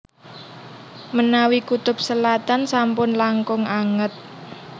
Menawi kutub selatan sampun langkung anget